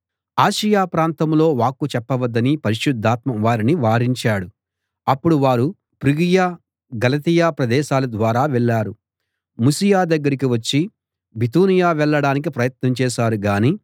Asia ప్రాంతంలో వాక్కు చెప్పవద్దని పరిశుద్ధాత్మ వారిని వారించాడు అప్పుడు వారు ఫ్రుగియ గలతీయ ప్రదేశాల ద్వారా వెళ్ళారు ముసియ దగ్గరికి వచ్చి బితూనియ వెళ్ళడానికి ప్రయత్నం చేశారు గానీ